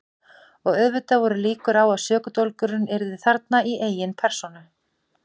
Og auðvitað voru líkur á að sökudólgurinn yrði þarna í eigin persónu.